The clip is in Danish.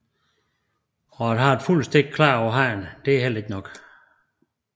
Og at have et fuldt stik klar på hånden er heller ikke nok